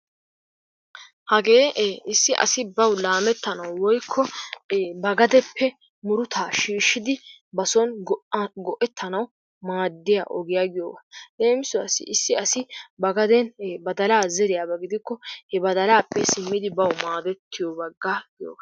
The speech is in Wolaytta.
Hagee issi asi bawu laamettanawu woykko ba gadeppe murutaa shiishshidi bason go"aa go"ettanawu maaddiya ogiya giyogaa. Leemisuwassi issi asi ba gaden badalaa zeriyaba gidikko he badalaappe simmidi bawu maadettiyo baggaa giyogaa.